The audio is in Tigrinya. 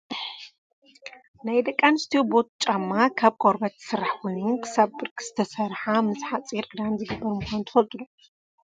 ናይ ደቂ ኣንስትዮ ቦት ጫማ ካብ ቆርበት ዝስራሕ ኮይኑ ክሳብ ብርኪ ዝተሰረሓ ምስ ሓፂር ክዳን ዝግበር ምኳኑ ትፈልጡ ዶ ?